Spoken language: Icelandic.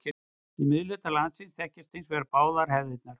Í miðhluta landsins þekkjast hins vegar báðar hefðirnar.